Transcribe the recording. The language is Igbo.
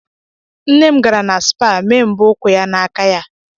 Nne m gara na spaa mee mbọ ụkwụ ya na aka ya.